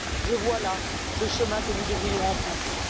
Je vois là le chemin que nous devrions emprunter.